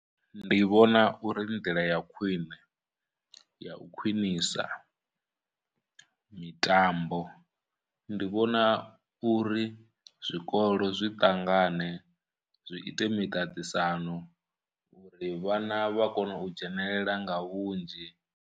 Ndi vhona uri nḓila ya khwiṋe ya u khwinisa mitambo, ndi vhona uri zwikolo zwi ṱangane zwi ite miṱaṱisano uri vhana vha kone u dzhenelela nga vhunzhi.